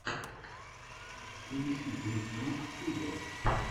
поищи брик трик студио